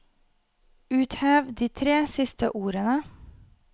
Uthev de tre siste ordene